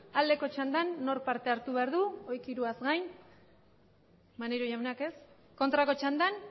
aldeko txandan nork parte hartu behar du horiek hiruaz gain maneiro jaunak ez kontrako txandan